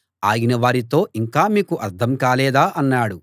ఆయన వారితో ఇంకా మీకు అర్థం కాలేదా అన్నాడు